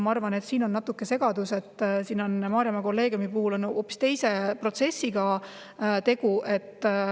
Ma arvan, et siin on väike segadus, Maarjamaa kolleegiumi puhul on tegu hoopis teise protsessiga.